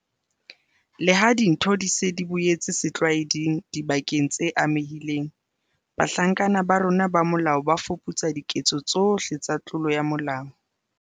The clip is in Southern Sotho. Leha dintho di se di boetse setlwaeding dibakeng tse amehileng, bahlanka ba rona ba molao ba fuputsa diketso tsohle tsa tlolo ya molao.